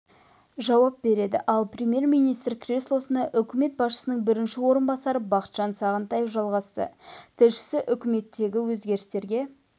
жауап береді ал премьер-министр креслосына үкімет басшысының бірінші орынбасары бақытжан сағынтаев жайғасты тілшісі үкіметтегі өзгерістерге